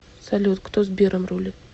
салют кто сбером рулит